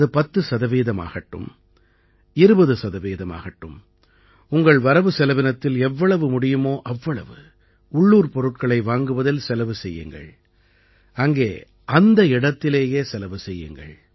அது பத்து சதவீதமாகட்டும் 20 சதவீதமாகட்டும் உங்கள் வரவுசெலவினத்தில் எவ்வளவு முடியுமோ அவ்வளவு உள்ளூர் பொருட்களை வாங்குவதில் செலவு செய்யுங்கள் அங்கே அந்த இடத்திலேயே செலவு செய்யுங்கள்